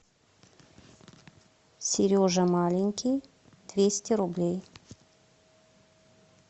сережа маленький двести рублей